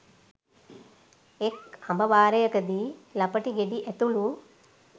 එක් අඹ වාරයකදී ළපටි ගෙඩි ඇතුළු